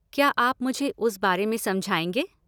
क्या आप मुझे उस बारे में समझाएँगे?